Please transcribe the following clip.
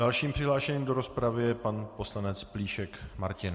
Dalším přihlášeným do rozpravy je pan poslanec Plíšek Martin.